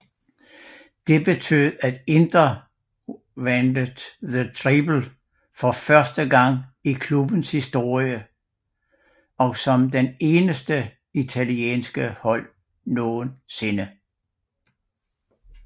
Det betød at Inter vandet The Treble for første gang i klubbens historie og som det eneste italienske hold nogensinde